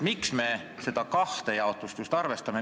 Miks me just seda kahte jaotust arvestame?